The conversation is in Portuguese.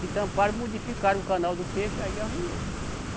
Que tamparam, modificaram o canal do peixe, aí arruinou.